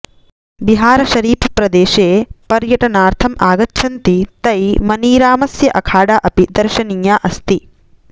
बिहारशरीफप्रदेशे पर्यटनार्थम् आगच्छन्ति तै मनीरामस्य अखाडा अपि दर्शनीया अस्ति